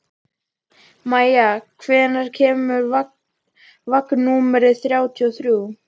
Maia, hvenær kemur vagn númer þrjátíu og þrjú?